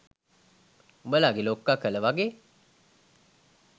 උබලගේ ලොක්ක කල වගේ?